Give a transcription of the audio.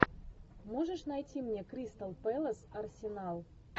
можешь найти мне кристал пэлас арсенал